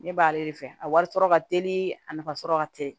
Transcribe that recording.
Ne b'ale de fɛ a wari sɔrɔ ka teli a nafa sɔrɔ ka teli